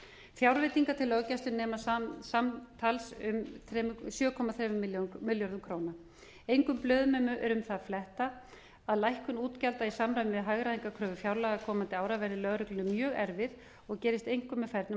fjárveitingar til löggæslu nema samtals um sjö komma þremur milljörðum króna engum blöðum er um það að fletta að lækkun útgjalda í samræmi við hagræðingarkröfur fjárlaga komandi ára verði lögreglunni mjög erfið og gerist einkum með fernum